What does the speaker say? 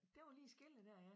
Det var lige skellet dér ja